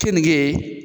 Keninge